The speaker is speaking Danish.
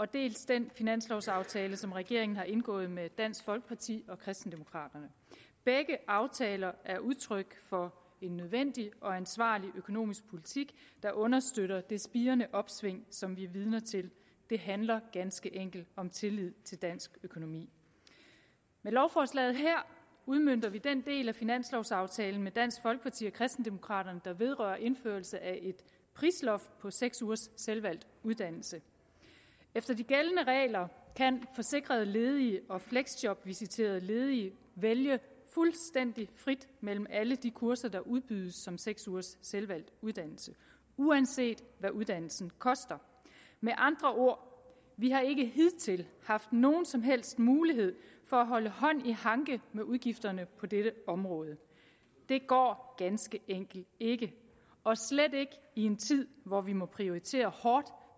dels den finanslovaftale som regeringen har indgået med dansk folkeparti og kristendemokraterne begge aftaler er udtryk for en nødvendig og ansvarlig økonomisk politik der understøtter det spirende opsving som vi er vidne til det handler ganske enkelt om tillid til dansk økonomi med lovforslaget her udmønter vi den del af finanslovaftalen med dansk folkeparti og kristendemokraterne der vedrører indførelse af et prisloft på seks ugers selvvalgt uddannelse efter de gældende regler kan forsikrede ledige og fleksjobvisiterede ledige vælge fuldstændig frit mellem alle de kurser der udbydes som seks ugers selvvalgt uddannelse uanset hvad uddannelsen koster med andre ord vi har ikke hidtil haft nogen som helst mulighed for at holde hånd i hanke med udgifterne på dette område det går ganske enkelt ikke og slet ikke i en tid hvor vi må prioritere hårdt